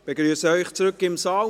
Ich begrüsse Sie zurück im Saal.